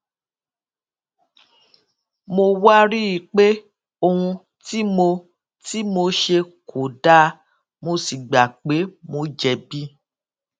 mo wá rí i pé ohun tí mo tí mo ṣe kò dáa mo sì gbà pé mo jèbi